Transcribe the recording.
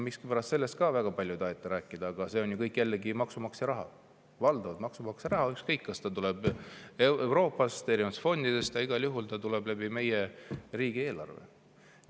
Miskipärast sellest ka väga palju ei taheta rääkida, aga see on ju kõik jällegi maksumaksja raha – valdavalt maksumaksja raha, ükskõik kas see tuleb Euroopast, erinevatest fondidest, aga igal juhul see tuleb meie riigieelarve kaudu.